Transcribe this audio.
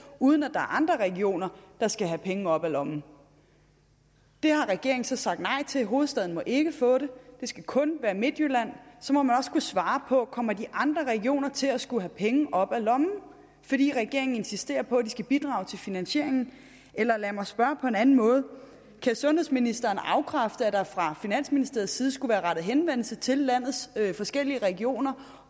uden at er andre regioner der skal have penge op af lommen det har regeringen så sagt nej til hovedstaden må ikke få det det skal kun være midtjylland så må man også kunne svare på om de andre regioner kommer til at skulle have penge op af lommen fordi regeringen insisterer på at de skal bidrage til finansieringen eller lad mig spørge på en anden måde kan sundhedsministeren afkræfte at der fra finansministeriets side skulle være rettet henvendelse til landets forskellige regioner